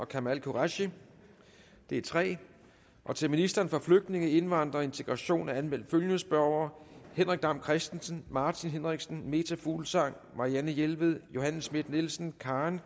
kamal qureshi det er tre til ministeren for flygtninge indvandrere og integration er anmeldt følgende spørgere henrik dam kristensen martin henriksen meta fuglsang marianne jelved johanne schmidt nielsen karen